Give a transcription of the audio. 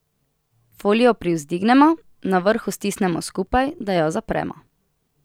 Folijo privzdignemo, na vrhu stisnemo skupaj, da jo zapremo.